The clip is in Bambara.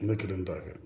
N bɛ kelen dɔ kɛ